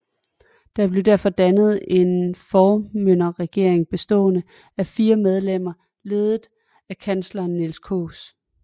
Der blev derfor dannet en formynderregering bestående af fire medlemmer ledet af kansleren Niels Kaas